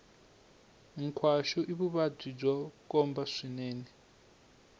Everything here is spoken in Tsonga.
nkhwashu i vuvabyi bya khombo swinene